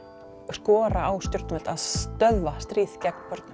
skora á stjórnvöld að stöðva stríð gegn börnum